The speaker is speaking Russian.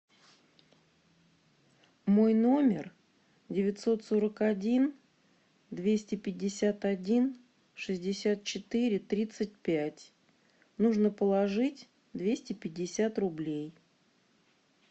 мой номер девятьсот сорок один двести пятьдесят один шестьдесят четыре тридцать пять нужно положить двести пятьдесят рублей